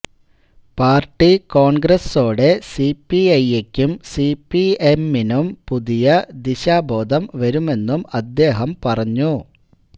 party കോൺഗ്രസോടെ സിപിഐയ്ക്കും സിപിഎമ്മിനും പുതിയ ദിശാബോധം വരുമെന്നും അദ്ദേഹം പറഞ്ഞു